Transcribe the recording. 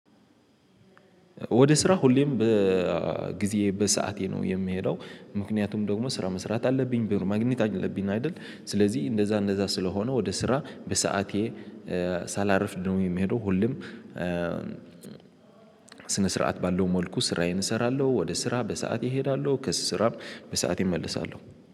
ወደ ስራ ሁሌም በጊዜ በሰአቴ ነው የምሄደው ምክንያቱም ደግሞ ስራ መስራት አለብኝ ብር ማግኘት አለብኝና አይደል ስለዚህ እንደዛ እንደዛ ስለሆነ ወደ ስራ በሰአቴ ሳላርፍድ ነው የሚሄደው። ሁሉም ስነ ስርዓት ባለው መልኩ ስራዬን እሰራለሁ ወደ ስራ በሰአት ይሄዳሉ ከስራም በሰአት ይመለሳሉ